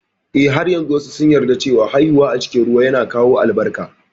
Eh, har yanzu wasu sun yarda cewa haihuwa a cikin ruwa yana kawo albarka